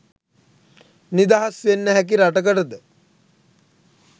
නිදහස් වෙන්න හැකි රටකටද?